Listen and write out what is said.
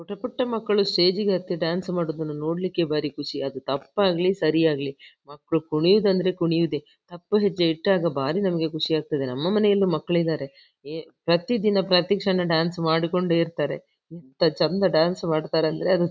ಪುಟ್ಟ ಪುಟ್ಟ ಮಕ್ಕಳು ಸ್ಟೇಜ್ ಗೆ ಹತ್ತಿ ಡ್ಯಾನ್ಸ್ ಮಾಡೋದನ್ನ ನೋಡ್ಲಿಕ್ಕೆ ಭಾರಿ ಖುಷಿ ಅದು ತಪ್ಪಾಗ್ಲಿ ಸರಿ ಆಗ್ಲಿ ಮಕ್ಕಳು ಕುಣಿಯೂದಂದ್ರೆ ಕುಣಿಯೂದೆ ತಪ್ಪು ಹೆಜ್ಜೆ ಇಟ್ಟಾಗ ಭಾರಿ ನಮಗೆ ಖುಷಿ ಆಗ್ತದೆ ನಮ್ಮ ಮನೆಯಲ್ಲು ಮಕ್ಕಳಿದಾರೆ ಏ ಪ್ರತಿ ದಿನ ಪ್ರತಿ ಕ್ಷಣ ಡ್ಯಾನ್ಸ್ ಮಾಡಿಕೊಂಡೇ ಇರ್ತಾರೆ ಎಂಥ ಚಂದ ಡ್ಯಾನ್ಸ್ ಮಾಡ್ತಾರಂದ್ರೆ ಅದು--